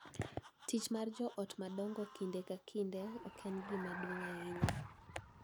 Tich mar jo ot madongo kinde ka kinde ok en gima duong� ahinya,